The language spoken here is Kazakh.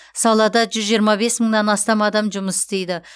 салада жүз жиырма бес мыңнан астам адам жұмыс істейді